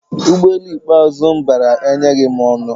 Ụgbọelu ikpeazụ m bara enyeghị m ọṅụ